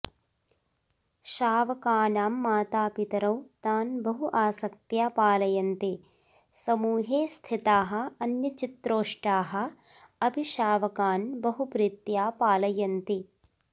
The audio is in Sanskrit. शावकानां मातापितरौ तान् बहु आसक्त्या पालयन्ति समूहे स्थिताः अन्यचित्रोष्टाः अपि शावकान् बहु प्रीत्या पालयन्ति